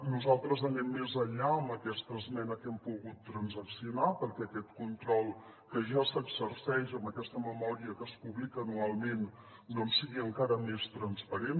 nosaltres anem més enllà amb aquesta esmena que hem pogut transaccionar perquè aquest control que ja s’exerceix amb aquesta memòria que es publica anualment sigui encara més transparent